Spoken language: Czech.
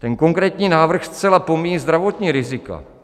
Ten konkrétní návrh zcela pomíjí zdravotní rizika.